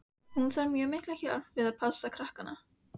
Hún þarf mjög mikla hjálp við að passa krakkana.